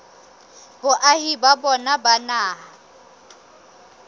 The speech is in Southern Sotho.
boahi ba bona ba naha